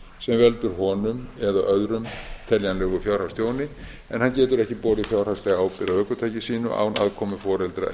veldur honum eða öðrum teljanlegu fjárhagstjóni en hann getur ekki borið fjárhagslega ábyrgð á ökutæki sínu án aðkomu foreldra